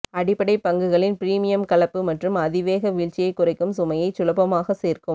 அடிப்படை பங்குகளின் பிரீமியம் கலப்பு மற்றும் அதிவேக வீழ்ச்சியைக் குறைக்கும் சுமையைச் சுலபமாக சேர்க்கும்